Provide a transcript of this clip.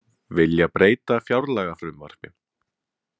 Vilja breyta fjárlagafrumvarpi